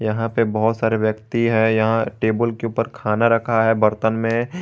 यहां पे बहोत सारे व्यक्ति है यहां टेबुल के ऊपर खाना रखा है बर्तन में।